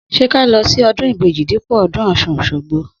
Sẹ kà lọ si ọdún ìbejí dípò ọdún ọsún osogbo?